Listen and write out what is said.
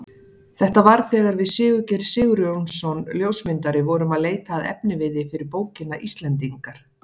Þetta var þegar við Sigurgeir Sigurjónsson ljósmyndari vorum að leita að efniviði fyrir bókina Íslendingar.